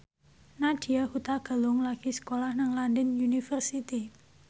Nadya Hutagalung lagi sekolah nang London University